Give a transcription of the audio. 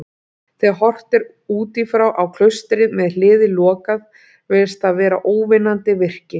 Þegar horft er útífrá á klaustrið, með hliðið lokað, virðist það vera óvinnandi virki.